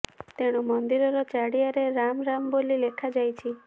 ତେଣୁ ମନ୍ଦିରର ଚାରିଆଡେ ରାମ୍ ରାମ୍ ବୋଲି ଲେଖା ଯାଇଛି